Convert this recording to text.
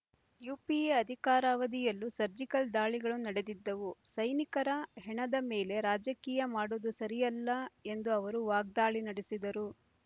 UPA ಅಧಿಕಾರಾವಧಿಯಲ್ಲೂ surgical ದಾಳಿಗಳು ನಡೆದಿದ್ದವು ಸೈನಿಕರ ಹೆಣದ ಮೇಲೆ ರಾಜಕೀಯ ಮಾಡುವುದು ಸರಿಯಲ್ಲ ಎಂದು ಅವರು ವಾಗ್ದಾಳಿ ನಡೆಸಿದರು